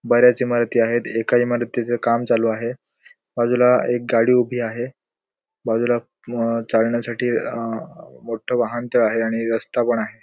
बऱ्याच इमारती आहेत एका इमारतीचं काम चालू आहे बाजूला एक गाडी उभी आहे बाजूला अ चालण्यासाठी अ मोठ्ठ वाहनतळ आहे आणि एक रस्ता पण आहे.